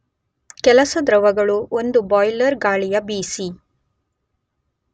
ಕೆಲಸ ದ್ರವಗಳು ಒಂದು ಬಾಯ್ಲರ್ ಗಾಳಿಯ ಬಿಸಿ